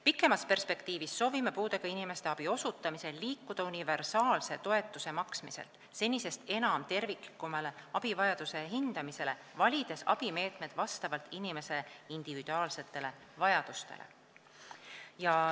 Pikemas perspektiivis soovime puudega inimestele abi osutamisel liikuda universaalse toetuse maksmiselt senisest enam terviklikumale abivajaduse hindamisele, valides abimeetmed vastavalt inimese individuaalsetele vajadustele.